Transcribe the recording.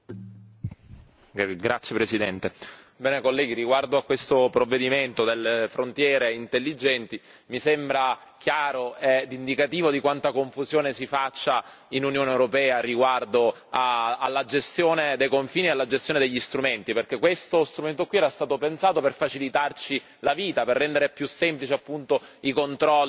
Signor Presidente, onorevoli colleghi, riguardo a questo provvedimento delle frontiere intelligenti, mi sembra chiaro ed indicativo quanta confusione si faccia nell'Unione europea riguardo alla gestione dei confini e alla gestione degli strumenti, perché questo strumento era stato pensato per facilitarci la vita, per rendere più semplici appunto i controlli